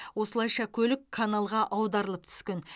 осылайша көлік каналға аударылып түскен